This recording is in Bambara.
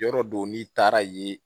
Yɔrɔ don n'i taara ye